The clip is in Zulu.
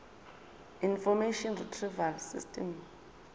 information retrieval system